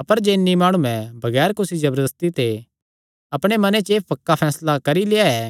अपर जे इन्हीं माणुये बगैर कुसी जबरदस्ती ते अपणे मने च एह़ पक्का फैसला करी लेआ ऐ